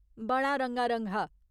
बड़ा रंगारंग हा।